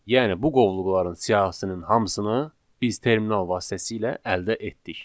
Yəni bu qovluqların siyahısının hamısını biz terminal vasitəsilə əldə etdik.